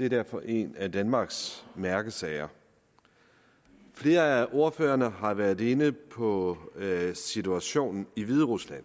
er derfor en af danmarks mærkesager flere af ordførerne har været inde på situationen i hviderusland